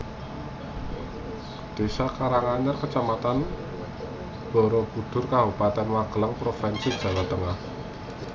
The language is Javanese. Désa Karanganyar Kecamatan Barabudhur Kabupaten Magelang provinsi Jawa Tengah